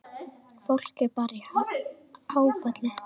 Fólk er bara í áfalli.